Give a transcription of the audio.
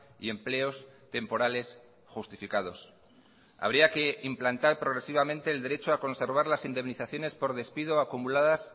y empleos temporales justificados habría que implantar progresivamente el derecho a conservar las indemnizaciones por despido acumuladas